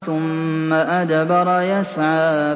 ثُمَّ أَدْبَرَ يَسْعَىٰ